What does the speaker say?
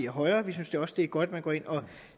højere vi synes også det er godt at man går ind og